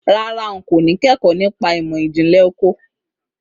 Rárá, n kò ní kẹ́kọ̀ọ́ nípa ìmọ̀ ìjìnlẹ̀ oko.